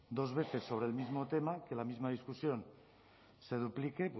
dos veces sobre el mismo tema que la misma discusión se duplique